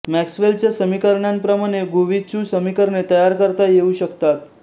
मॅक्सवेलच्या समीकरणांप्रमाणे गुविचु समीकरणे तयार करता येऊ शकतात